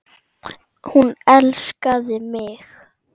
Hún elskaði mig.